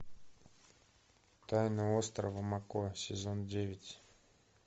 тайна острова мако сезон девять